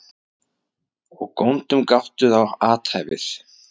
Og góndum gáttuð á athæfið.